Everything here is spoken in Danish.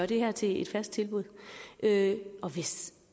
det her til et fast tilbud og hvis